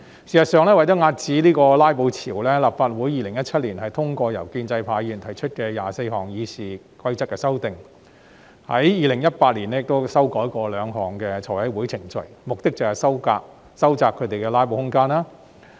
事實上，為了遏止"拉布"潮，立法會在2017年通過由建制派議員提出的24項《議事規則》的修訂，在2018年亦曾修改兩項財務委員會程序，目的是收窄他們的"拉布"空間。